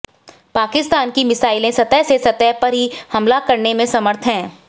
पाकिस्तान की मिसाइलें सतह से सतह पर ही हमला करने में समर्थ हैं